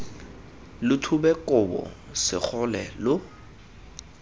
lo thube kobo segole lo